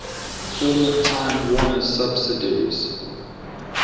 former time warner subsidiaries